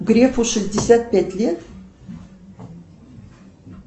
грефу шестьдесят пять лет